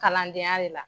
Kalandenya de la